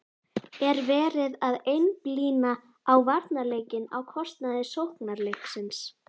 Er verið að einblína á varnarleikinn á kostnað sóknarleiksins?